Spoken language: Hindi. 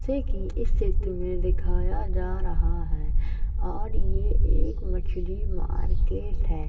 जैसे की इस चित्र मे दिखाया जा रहा है और ये एक मछली मार्किट है।